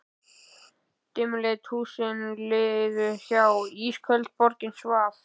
Dimmleit húsin liðu hjá, ísköld borgin svaf.